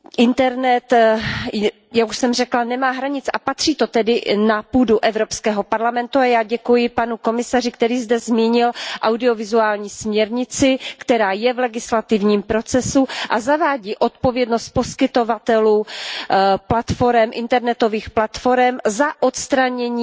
Internet, jak už jsem řekla, nemá hranic a patří to tedy na půdu EP a já děkuji panu komisaři, který zde zmínil audiovizuální směrnici, která je v legislativním procesu a zavádí odpovědnost poskytovatelů internetových platforem za odstranění